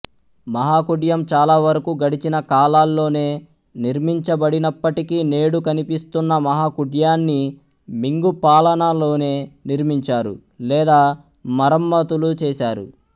మహాకుడ్యం చాలావరకు గడిచిన కాలాల్లోనే నిర్మించబడినప్పటికీ నేడు కనిపిస్తున్న మహాకుడ్యాన్ని మింగ్ పాలనలోనే నిర్మించారు లేదా మరమ్మతులు చేశారు